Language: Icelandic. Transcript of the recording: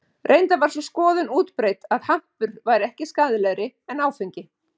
Reyndar var sú skoðun útbreidd að hampur væri ekki skaðlegri en áfengi.